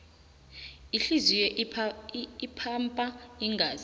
ihliziyo ipampa igazi